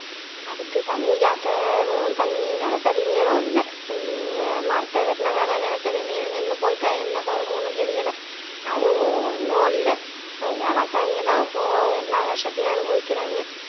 அதுக்கு தண்ணி காட்டவும் தண்ணி நிலத்தடி நீரும் இல்ல மரத்தை வெட்டுனதால நிலத்தடி நீரும் நின்னு போயிட்டா என்ன கருமம்னு தெரியல அது ஒ ஒ ஒண்ணும் இல்ல விவசாயிங்க தான் போ எல்லா கஷ்டத்தையும் அனுபவிக்கிறாங்க